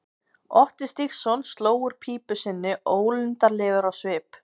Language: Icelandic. Otti Stígsson sló úr pípu sinni ólundarlegur á svip.